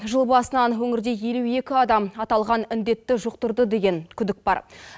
жыл басынан өңірде елу екі адам аталған індетті жұқтырды деген күдік бар